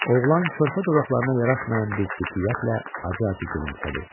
Oğlan körpə dodaqlarına yaraşmayan bir ciddiyyətlə acı-acı gülümsədi.